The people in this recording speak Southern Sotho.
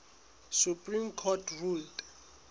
supreme court ruled